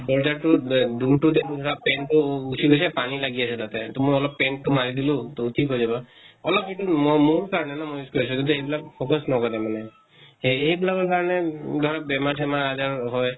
দৰ্জা তো আ তো paint তো উঠি গৈছে, পানী লাগি আছে তাতে। মই অলপ paint তো মাৰি দিলো তʼ ঠিক হৈ যাব । অলপ সেইটো ম মম থাকে ন, যদি সেইবিলাক অভ্য়াস নকৰে মানে। সেই সেইবিলাকৰ কাৰণে উম ধৰক বেমাৰ চেমাৰ আজাৰ হয় ।